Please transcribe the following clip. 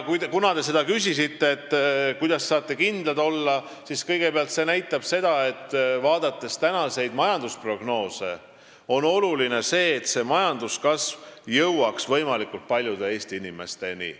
Kuna te küsisite, et kuidas me saame kindlad olla, siis ütlen kõigepealt, et vaadates tänaseid majandusprognoose, on oluline, et majanduskasv jõuaks võimalikult paljude Eesti inimesteni.